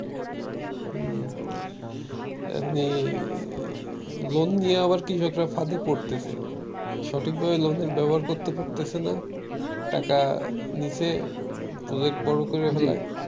loan নিয়ে আবার কৃষকরা ফাঁদে পড়তেছে সঠিকভাবে লোন এর ব্যবহার করতেছে পারতেছে না টাকা নিসে project বড় করে ফেলায়